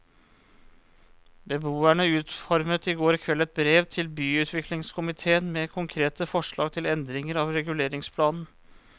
Beboerne utformet i går kveld et brev til byutviklingskomitéen med konkrete forslag til endringer av reguleringsplanen.